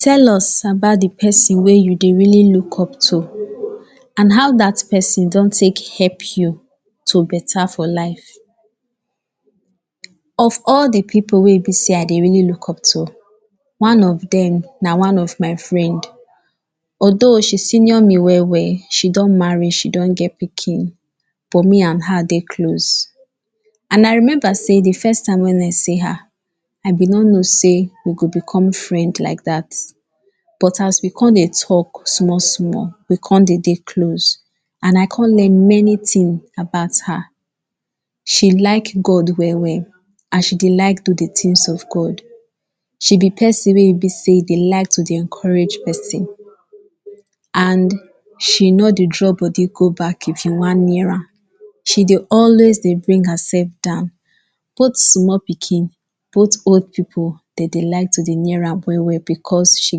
Tell us about the pesin wey you dey really look up to and that pesin don take help you to beta for life of all the people wey be say i dey really look up to one of them na one of my friend although she senior me well well she don marry she don get pikin but me and her dey close and i remeber sey the first time wen i see her i bin no no sey we go become friend like that but as we come dey talk small small we come dey dey close and i come know many ting about her she like God well well and she dey like do the things of God she be pesin wey be sey dey like to dey encourage pesin and she no dey draw body go back if you wan near am she dey always dey bring herself down both small pikin both old people dey dey like to the near am well well because she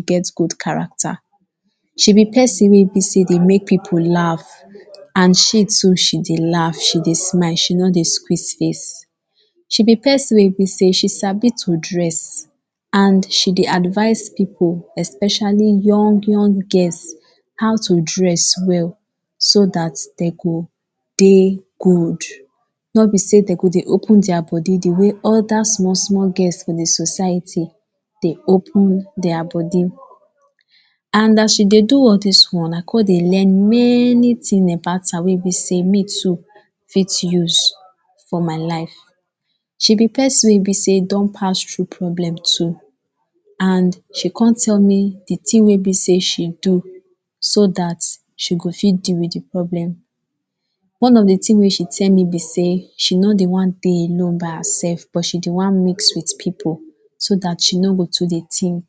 get good character she be pesin wey be sey dey make people laugh and she too she dey laugh she dey smile she no dey squeeze face she be pesin wey be sey she sabi to dress and she dey advise people especially young young girls how to dress well so that they go dey good no be sey dey go dey open their body the way other small small girls for the society dey open their body and as you dey do all this one i come dey learn many ting about am wey be sey me too fit use for my life she be pesin wey be sey don pass through problem too and she come tell me the ting wey be sey she do so that she go fit deal with the problem one of the ting she tell me be sey she no dey wan dey herself buh she dey wan mix with people so that she no go too dey think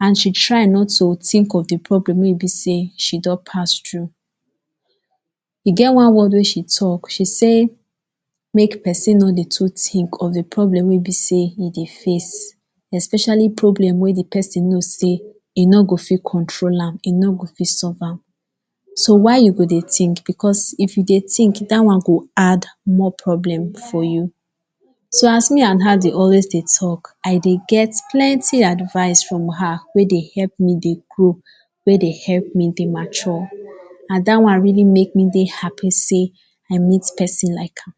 and she try not to think of the problem wey be sey she don pass through e get one word wey she talk she say make pesin no dey too tink of the problem wey be sey e dey face especially problem wey the person know say e go fit control am e no go fit solve am so why you go dey tink because if you dey tink that one go one go add more problem for you so as me and her dey always dey talk i dey get plenty advise from her wey dey help me dey grow wey dey help me dey mature and that one really make me dey happy sey i meet person like am